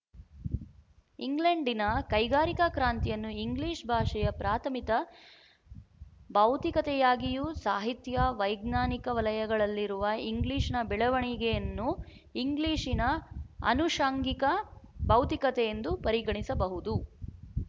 ಇಂಗ್ಲೆಂಡಿನ ಕೈಗಾರಿಕಾ ಕ್ರಾಂತಿಯನ್ನು ಇಂಗ್ಲಿಶ ಭಾಷೆಯ ಪ್ರಾಥಮಿಕ ಭೌತಿಕತೆಯಾಗಿಯೂ ಸಾಹಿತ್ಯ ವೈಜ್ಞಾನಿಕ ವಲಯಗಳಲ್ಲಿರುವ ಇಂಗ್ಲೀಶಿನ ಬೆಳವಣಿಗೆಯನ್ನು ಇಂಗ್ಲೀಶಿನ ಅನುಶಂಗಿಕ ಭೌತಿಕತೆಯೆಂದು ಪರಿಗಣಿಸಬಹುದು